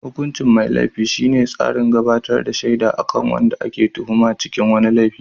hukuncin mai Laifi shine tsarin gabatar da shaida akan wanda ake tuhuma a cikin wani laifi